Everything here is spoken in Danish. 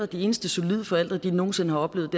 de eneste solide forældre de nogen sinde har oplevet